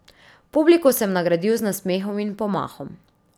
Publiko sem nagradil z nasmehom in pomahom.